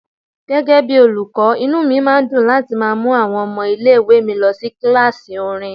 Gẹ́gẹ́ bí olùkọ́, inú mi máa dùn láti má mú àwọn ọmọ ilé ìwé mi lọ sí kíláàsì orin.